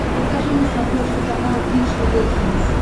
покажи на смотрешке канал бридж тв хитс